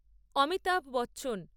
Amitabh Bachchan